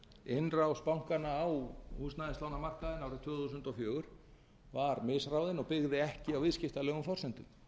innrás bankanna á húsnæðislánamarkaðinn árið tvö þúsund og fjögur var misráðinn og byggði ekki á viðskiptalegum forsendum